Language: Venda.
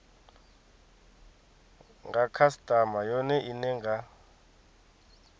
nga khasitama yone ine nga